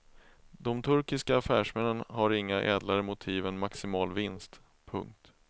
De turkiska affärsmännen har inga ädlare motiv än maximal vinst. punkt